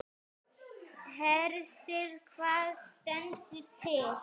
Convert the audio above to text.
Hersir, hvað stendur til?